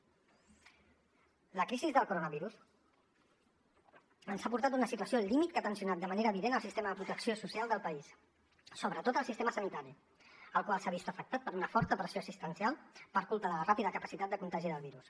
la crisi del coronavirus ens ha portat a una situació límit que ha tensionat de manera evident el sistema de protecció social del país sobretot el sistema sanitari el qual s’ha vist afectat per una forta pressió assistencial per culpa de la ràpida capacitat de contagi del virus